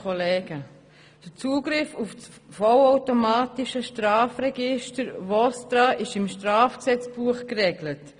Der Zugriff auf das Vollautomatische Strafregister VOSTRA ist im Schweizerischen Strafgesetzbuch geregelt.